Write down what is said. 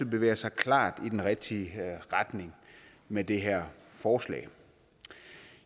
bevæger sig klart i den rigtige retning med det her forslag